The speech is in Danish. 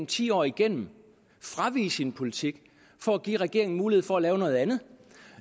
ti år igennem fravige sin politik for at give regeringen mulighed for at lave noget andet